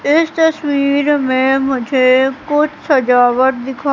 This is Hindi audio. इस तस्वीर में मुझे कुछ सजावट दिखा--